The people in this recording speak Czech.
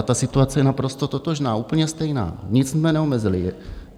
A ta situace je naprosto totožná, úplně stejná, nic jsme neomezili.